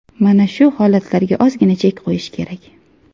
Mana shu holatlarga ozgina chek qo‘yish kerak.